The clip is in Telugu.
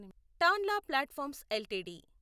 Tanla platforms LTD